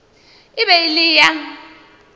e be e le ya